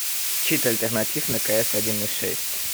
чит альтернатив на кс один и шесть